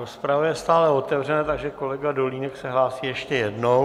Rozprava je stále otevřena, takže kolega Dolínek se hlásí ještě jednou.